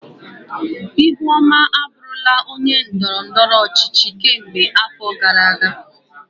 Ihuoma abụrula onye ndọrọ ndọrọ ọchịchị kemgbe afọ gara aga.